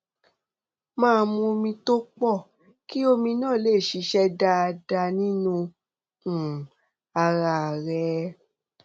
máa mu omi tó pọ kí omi náà lè ṣiṣẹ dáadáa nínú um ara rẹ